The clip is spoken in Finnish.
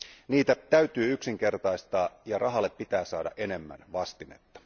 Niitä täytyy yksinkertaistaa ja rahalle pitää saada enemmän vastinetta.